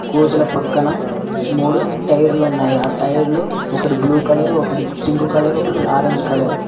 కోతుల పక్కన మూడు టైర్లు ఉన్నాయి ఆ టైర్లు ఒకటి బ్లూ కలర్ ఒకటి పింక్ కలర్ ఒకటి ఆరెంజ్ కలర్ .